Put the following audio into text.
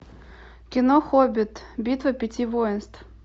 кино хоббит битва пяти воинств